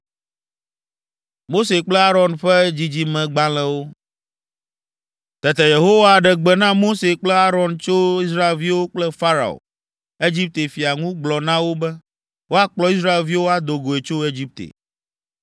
Tete Yehowa ɖe gbe na Mose kple Aron tso Israelviwo kple Farao, Egipte fia ŋu gblɔ na wo be woakplɔ Israelviwo ado goe tso Egipte.